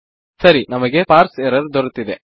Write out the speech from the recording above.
ಸರಿ ನಮಗೆ parse error ದೊರೆತಿದೆ